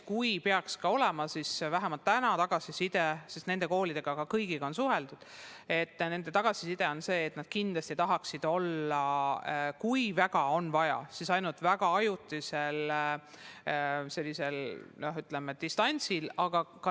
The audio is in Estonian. Vähemalt täna on tagasiside selline – kõigi nende koolidega on suheldud –, et kindlasti tahetakse olla, kui väga on vaja, siis ainult ajutiselt distantsõppel.